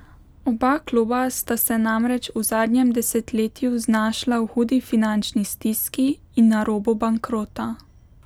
Oba kluba sta se namreč v zadnjem desetletju znašla v hudi finančni stiski in na robu bankrota.